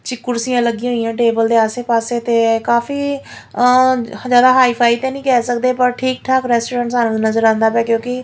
ਜੀ ਕੁਰਸੀਆਂ ਲੱਗੀਆਂ ਹੋਈਆਂ ਟੇਬਲ ਦੇ ਆਸੇ ਪਾੱਸੇ ਤੇ ਕਾਫੀ ਆਂ ਜਿਆਦਾ ਹਾਈ ਫਾਈ ਤਾਂ ਨਹੀਂ ਕੇਹ ਸਕਦੇ ਪਰ ਠੀਕ ਠਾਕ ਰੈਸਟੋਰੈਂਟ ਸਾਨੂੰ ਨਜ਼ਰ ਆਂਦਾ ਪਿਆ ਹੈ ਕਿਓਂਕਿ--